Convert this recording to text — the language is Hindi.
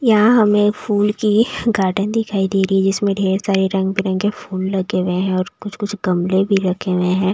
यहां हमें फूल की गार्डन दिखाई दे रही है जिसमें ढेर सारे रंग बिरंग के फूल लगे हुए हैं और कुछ-कुछ गमले भी रखे हुए हैं।